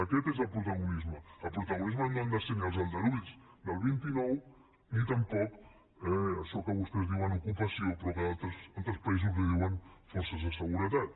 aquest és el protagonisme el protagonisme no han de ser ni els aldarulls del vint nou ni tampoc això que vostès diuen ocupació però que a altres països li diuen forces de seguretat